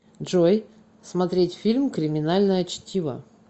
джой смотреть фильм криминальное чтиво